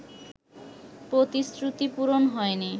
প্রতিশ্রুতি পূরণ হয়নি